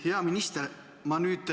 Hea minister!